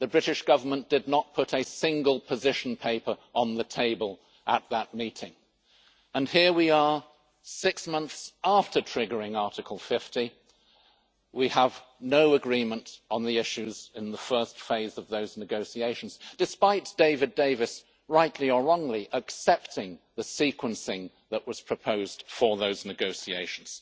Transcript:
The British Government did not put a single position paper on the table at that meeting. Here we are, six months after triggering Article 50, and we have no agreement on the issues in the first phase of those negotiations, despite David Davis, rightly or wrongly, accepting the sequencing that was proposed for those negotiations.